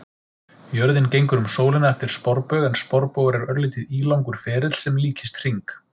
Jörðin gengur um sólina eftir sporbaug en sporbaugur er örlítið ílangur ferill sem líkist hring.